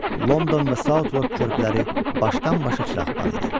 London və Southwark körpüləri başdan-başa çıraqban idi.